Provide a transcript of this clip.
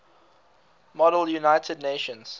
model united nations